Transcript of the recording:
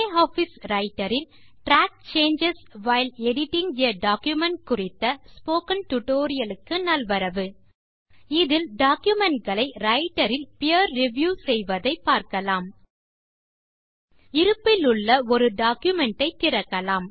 LibreOffice Writer இல் track changes while editing a document குறித்த spoken tutorial க்கு நல்வரவு இதில் டாக்குமென்ட் களை Writerஇல் பீர் ரிவ்யூ செய்வதை பார்க்கலாம் இருப்பிலுள்ள ஒரு டாக்குமென்ட் ஐ திறக்கலாம்